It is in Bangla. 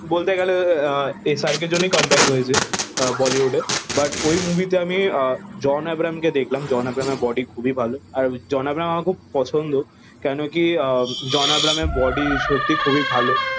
বলতে গেলে SRK এর জন্যে কাম বাক হয়েছে বলিউডে বাট ওই মুভি তে আমি জন এব্রাহিম কে দেখলাম জন এব্রাহিম এর বডি খুবই ভালো আর জন ব্রাহিম আমার খব পছন্দ কেন কি আহ জন এব্রাহিম এর বডি সত্য খুবই ভালো